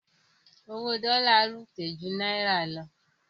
Owó dollar ròkè ju náírà lọ